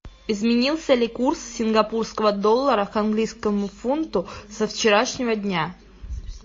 изменился ли курс сингапурского доллара к английскому фунту со вчерашнего дня